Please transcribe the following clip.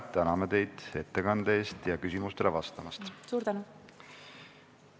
Täname teid ettekande eest ja küsimustele vastamast!